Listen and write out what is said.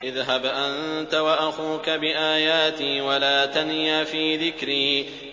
اذْهَبْ أَنتَ وَأَخُوكَ بِآيَاتِي وَلَا تَنِيَا فِي ذِكْرِي